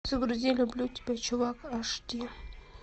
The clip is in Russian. загрузи люблю тебя чувак аш ди